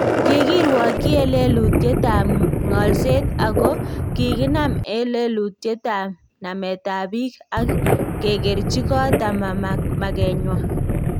Kikirwaakyii en lelutyetab ng'alseet ako kikinaam en lelutyetab nameetab biik ak kekerchii koot ama makenywan